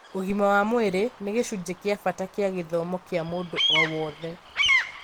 Ũgima wa mwĩrĩ nĩ gĩcunjĩ kĩa bata kĩa gĩthomo kĩa mũndũ o wothe.